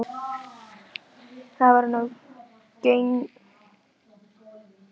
Stefnt er að því að tengja fyrstu hús á